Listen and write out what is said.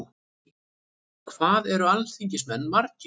Hvað eru alþingismenn margir?